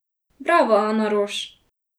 Bravo, Ana Roš!